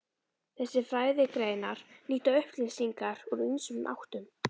Þessar fræðigreinar nýta upplýsingar úr ýmsum áttum.